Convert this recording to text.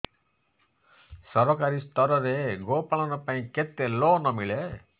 ସରକାରୀ ସ୍ତରରେ ଗୋ ପାଳନ ପାଇଁ କେତେ ଲୋନ୍ ମିଳେ